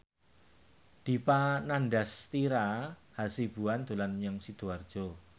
Dipa Nandastyra Hasibuan dolan menyang Sidoarjo